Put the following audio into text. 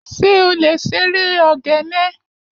Ṣé o lè ṣeré ogene?